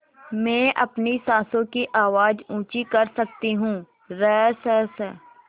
मैं अपनी साँसों की आवाज़ ऊँची कर सकती हूँ रसस